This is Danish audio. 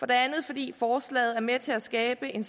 det andet fordi forslaget er med til at skabe en